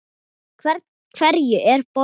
Hverjum er boðið?